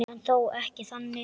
En þó ekki þannig.